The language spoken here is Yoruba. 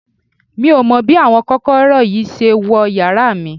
Mi ò mọ bí àwọn kòkòrò yìí ṣe wọ yàrá mi